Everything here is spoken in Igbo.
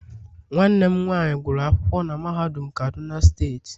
nwanne m nwanyi guru akwukwo na mahadum kaduna steeti